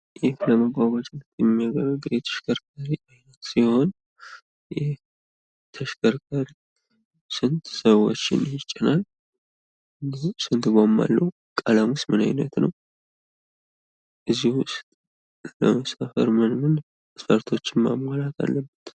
ይህ ለመጓጓዣነት የሚያገለግል የተሽከርካሪ አይነት ሲሆን። ይህ ተሽከርካሪ ስንት ሰዎችን ይጭናል? እንዲሁም ስንት ጎማ አለው? ቀለሙስ ምን አይነት ነው? እንዲሁ ምን ምን መስፈርቶችን ማሟላት አለበት?